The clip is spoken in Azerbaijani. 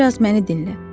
Bir az məni dinlə.